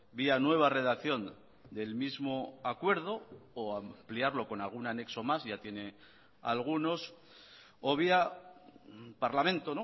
vía nueva redacción del mismo acuerdo o ampliarlo con algún anexo más ya tiene algunos o vía parlamento o